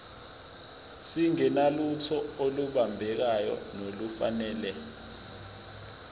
singenalutho olubambekayo nolufanele